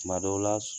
Tuma dɔw la